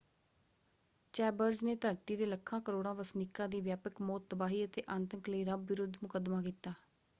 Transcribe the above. Chambers ਨੇ ਧਰਤੀ ਦੇ ਲੱਖਾਂ ਕਰੋੜਾਂ ਵਸਨੀਕਾਂ ਦੀ ਵਿਆਪਕ ਮੌਤ ਤਬਾਹੀ ਅਤੇ ਆਤੰਕ ਲਈ ਰੱਬ ਵਿਰੁੱਧ ਮੁਕੱਦਮਾ ਕੀਤਾ।